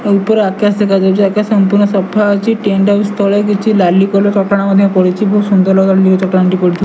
ଓ ଉପର ଆକାଶ ଦେଖା ଯାଉଚି ଆକାଶ ସଂପୂର୍ଣ୍ଣ ସଫା ଅଛି ଟେଣ୍ଡ ହାଉସ ତଳେ କିଛି ଲାଲି କଲର୍ ଚଟାଣ ମଧ୍ୟ ପଡିଚି ବହୁତ ସୁନ୍ଦର ଚଟାଣ ଟି ପଡ଼ିଥି --